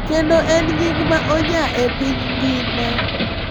Kendo en nying ma onya e piny ngima.